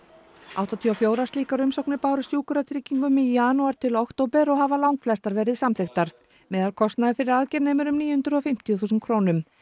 áttatíu og fjórar slíkar umsóknir bárust Sjúkratryggingum í janúar til október og hafa langflestar verið samþykktar meðalkostnaður fyrir aðgerð nemur um níu hundruð og fimmtíu þúsund krónum